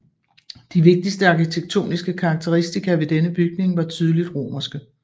De vigtigste arkitektoniske karakteristika ved denne bygning var tydeligt romerske